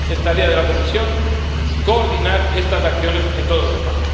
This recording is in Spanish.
Es tarea de la Comisión coordinar estas acciones en toda Europa.